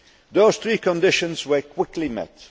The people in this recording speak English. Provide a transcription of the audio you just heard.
Those three conditions were quickly